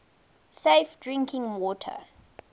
safe drinking water